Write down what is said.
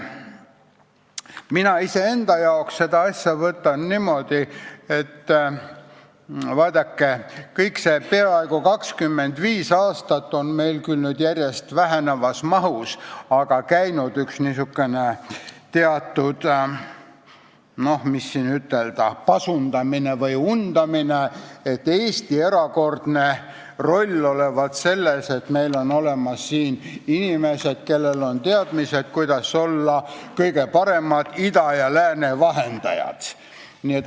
Mina iseenda jaoks võtan seda asja niimoodi, et vaadake, kõik see peaaegu 25 aastat on meil küll järjest vähenevas mahus, aga siiski käinud pasundamine või undamine, et Eesti erakordne roll olevat selles, et meil on siin inimesed, kellel on teadmised, kuidas olla kõige paremad ida ja lääne vahendajad.